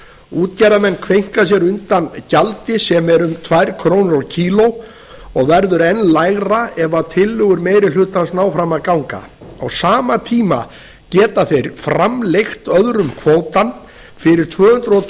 útgerðarmenn kveinka sér undan gjaldi sem er um tvær krónur á kíló og verður enn lægra ef tillögur meiri hlutans ná fram að ganga á sama tíma geta þeir framleigt öðrum kvótann fyrir tvö hundruð